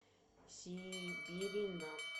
сиберина